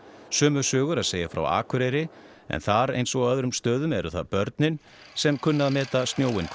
sömu sögu er að segja frá Akureyri en þar eins og annars staðar eru það börnin sem kunna að meta snjóinn hvað